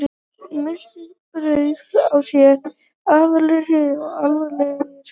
Miltisbrandur á sér aðra hlið og alvarlegri.